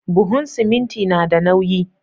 Buhun siminti nada nauyi